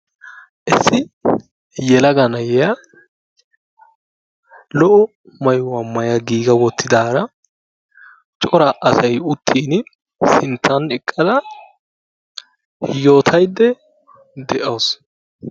Issi yelaga na"iya lo"o maayuwa maaya giiga wottidaara cora asayi uttin sinttan eqqadayootaydda de"awusu.